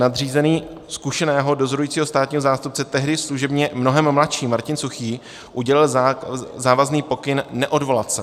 Nadřízený zkušeného dozorujícího státního zástupce, tehdy služebně mnohem mladší Martin Suchý, udělil závazný pokyn neodvolat se.